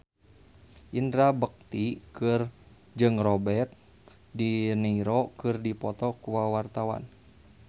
Indra Bekti jeung Robert de Niro keur dipoto ku wartawan